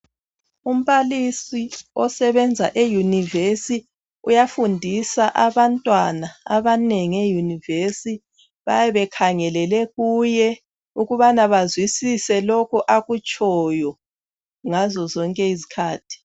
Umbalisi osebenza e university uyafundisa abantwana abanengi e university. Bayabe bekhangelele kuye ukubana bazwisise lokhu akutshoyo ngazo zonke izikhathi.